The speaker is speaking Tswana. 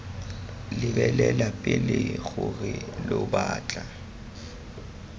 lebelela pele gore lo batla